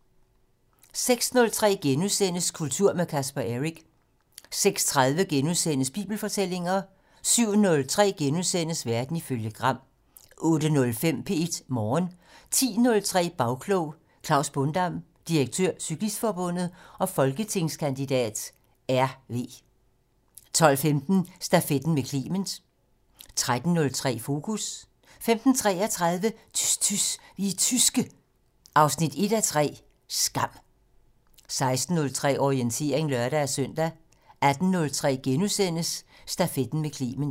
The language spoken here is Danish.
06:03: Kultur med Casper Eric * 06:30: Bibelfortællinger * 07:03: Verden ifølge Gram * 08:05: P1 Morgen 10:03: Bagklog: Klaus Bondam, direktør Cyklistforbundet og folketingskandidat (RV) 12:15: Stafetten med Clement 13:03: Fokus 15:33: Tys tys, vi er tyske 1:3 Skam 16:03: Orientering (lør-søn) 18:03: Stafetten med Clement *